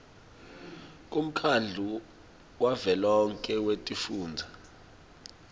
kumkhandlu wavelonkhe wetifundza